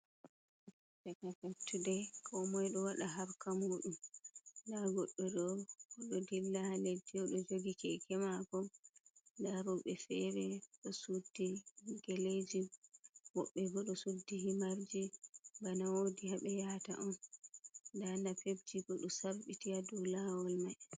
Fattude komoi ɗo waɗa harka muɗum nda goɗɗo ɗo ɗow dillaa ha ledde uɗo jogi keke mako nad roɓeji fere ɗo suddi geleji woɓɓe bo ɗo suddi himarji bana wodi haɓe yahata on nda napepji bo do sarɓiti ha dow lawol mai.